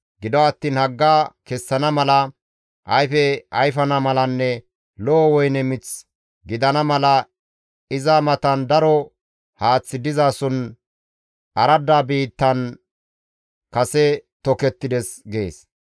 Gido attiin hagga kessana mala, ayfe ayfana malanne lo7o woyne mith gidana mala iza matan daro haaththi dizason aradda biittan kase tokettides› gees.